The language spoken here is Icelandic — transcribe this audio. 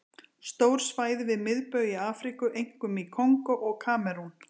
Stór svæði við miðbaug í Afríku, einkum í Kongó og Kamerún.